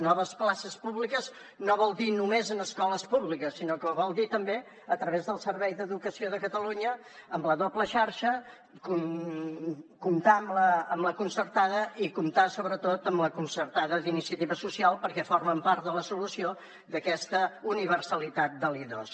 noves places públiques no vol dir només en escoles públiques sinó que vol dir també a través del servei d’educació de catalunya amb la doble xarxa comptar amb la concertada i comptar sobretot amb la concertada d’iniciativa social perquè formen part de la solució d’aquesta universalitat de l’i2